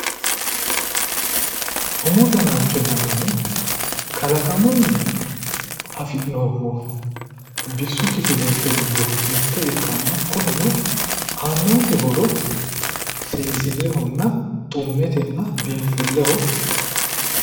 umu danacho yinannihu kalaqamunni afi'neemmoho bisu kifilenke giddo mitte ikkanna kunino aannonke horo seesillehonna xummetenna biinfilleho